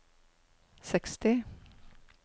seksti